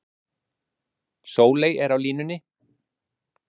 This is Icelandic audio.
Sóley er á línunni.